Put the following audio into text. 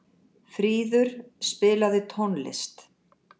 Fríður, spilaðu tónlist.